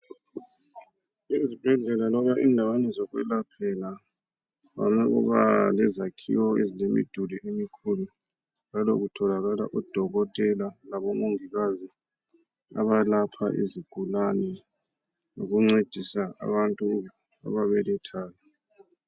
Ezibhedlela loba endaweni zokwelaphela, kuvame ukuba lezakhiwo ezilemidulu emikhulu njalo kutholakala odokotela labomongikazi abalapha izigulane lokuncedisa abantu ababelethayo.